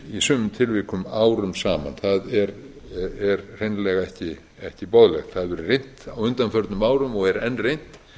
í sumum tilvikum árum saman það er hreinlega ekki boðlegt það hefur verið reynt á undanförnum árum og er enn reynt